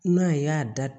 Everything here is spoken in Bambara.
N'a y'a da